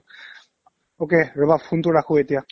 okay, মই ফোনতো ৰাখো এতিয়া